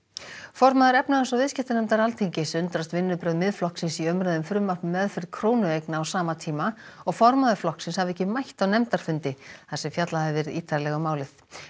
formaður efnahags og viðskiptanefndar Alþingis undrast vinnubrögð Miðflokksins í umræðu um frumvarp um meðferð krónueigna á sama tíma og formaður flokksins hafi ekki mætt á nefndarfundi þar sem fjallað hafi verið ítarlega um málið